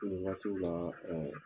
n ɲɛ t'u la ɛɛ